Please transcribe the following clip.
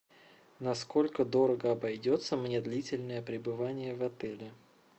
на сколько дорого обойдется мне длительное пребывание в отеле